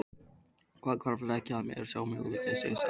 Það hvarflaði ekki að mér sá möguleiki að segja satt.